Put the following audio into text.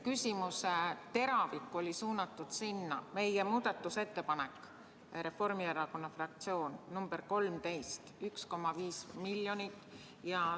Küsimuse teravik oli suunatud meie, Reformierakonna fraktsiooni muudatusettepanekule, ettepanekule nr 13: 1,5 miljonit.